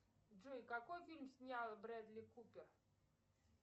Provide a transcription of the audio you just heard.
джой какой фильм снял бредли купер